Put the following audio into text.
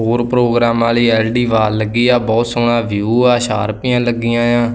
ਹੋਰ ਪ੍ਰੋਗਰਾਮਾਂ ਲਈ ਐਲ_ਡੀ ਵਾਲ਼ ਲੱਗੀ ਆ ਬਹੁਤ ਸੋਹਣਾ ਵਿਊ ਆ ਸ਼ਾਰਪੀਆ ਲੱਗੀਆਂ ਏ ਆ।